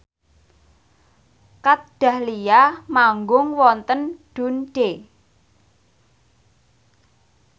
Kat Dahlia manggung wonten Dundee